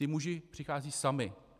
Ti muži přicházejí sami.